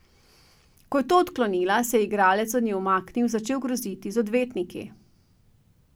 Ko je to odklonila, se je igralec od nje umaknil in začel groziti z odvetniki.